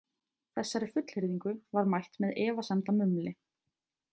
Þessari fullyrðingu var mætt með efasemdamumli.